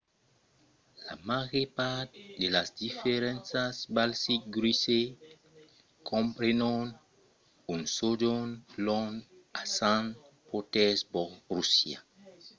la màger part de las diferentas baltic cruises comprenon un sojorn long a sant petersborg russia